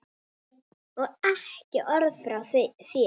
Og ekki orð frá þér!